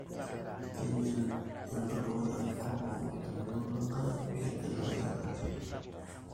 keinyal enturo enkop amu tenelotu enkare negil iltarajani